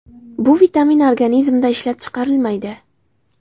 Bu vitamin organizmda ishlab chiqarilmaydi.